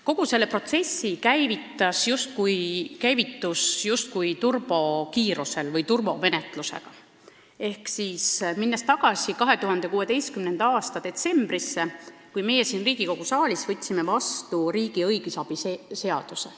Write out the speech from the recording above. Kogu see protsess käivitus justkui turbokiirusel või turbomenetlusega: 2016. aasta detsembris võtsime meie siin Riigikogu saalis vastu riigi õigusabi seaduse.